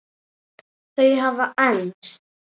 Þau hafa enst.